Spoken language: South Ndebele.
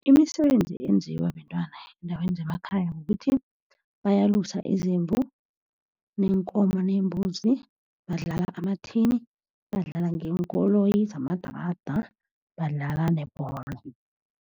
Imisebenzi enziwa bentwana eendaweni zemakhaya kukuthi bayalusa izimvu, neenkomo neembuzi. Badlala ama-tin, badlala ngeenkoloyi zamadrada, badlala nebholo.